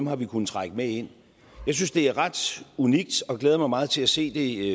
har vi kunnet trække med ind jeg synes det er ret unikt og jeg glæder mig meget til at se det